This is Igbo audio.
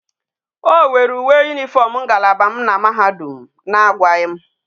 O were uwe uniform ngalaba m na mahadum a agwaghi m